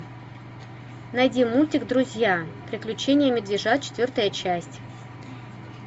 найди мультик друзья приключения медвежат четвертая часть